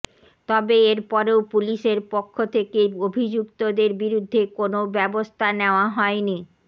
তবে এরপরেও পুলিশের পক্ষ থেকে অভিযুক্তদের বিরুদ্ধে কোনও ব্যবস্থা নেওয়া হয়নি